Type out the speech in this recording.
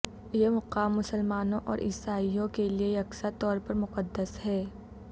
یہ مقام مسلمانوں اور عیسائیوں کے لیے یکساں طور پر مقدس ہے